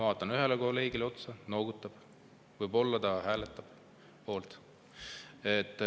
Vaatan ühele kolleegile otsa, ta noogutab, võib-olla ta hääletab poolt.